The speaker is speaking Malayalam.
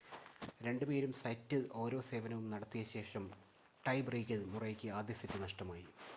രണ്ടുപേരും സെറ്റിൽ ഓരോ സേവനവും നടത്തിയ ശേഷം ടൈ ബ്രേക്കിൽ മുറെയ്ക്ക് ആദ്യ സെറ്റ് നഷ്ടമായി